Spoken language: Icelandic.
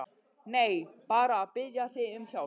Nei, bara að biðja þig um hjálp.